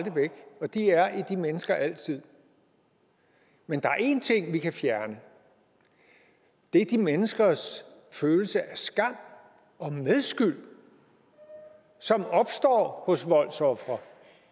væk og de er i de mennesker for altid men der er en ting vi kan fjerne og det er de menneskers følelse af skam og medskyld som opstår hos voldsofre